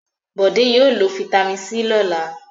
Bọ̀dé yóò lo fataímìn C lọ́la.